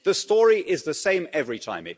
The story is the same every time.